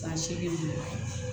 Ba seegin